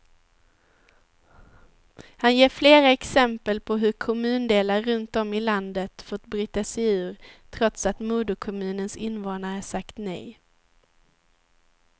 Han ger flera exempel på hur kommundelar runt om i landet fått bryta sig ur, trots att moderkommunens invånare sagt nej.